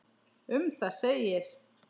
Um það segir: